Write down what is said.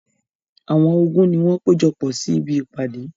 Àwọn ogun ni wọ́n ti péjọpọ̀ sí ibi ìpàdé.